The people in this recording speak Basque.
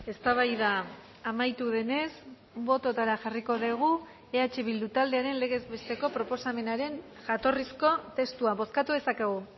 eztabaida amaitu denez bototara jarriko dugu eh bildu taldearen legez besteko proposamenaren jatorrizko testua bozkatu dezakegu